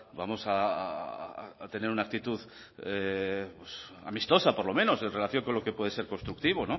vamos a tener una actitud amistosa por lo menos en relación con lo que puede ser constructivo